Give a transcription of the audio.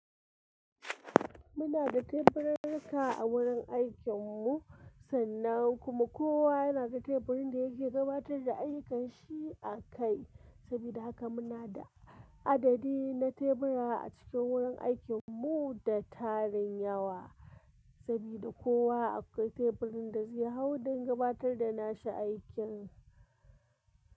Muna da teburin aiki a wurin aikin mu sannan kuma kowa yana da teburin da yake gabatar da aikanshi a kai. Saboda haka muna da adadi na tebura a cikin wurin aikin mu da tarin yawa, saboda kowa akwai teburin da zai hau don gabatar da nashi aikin.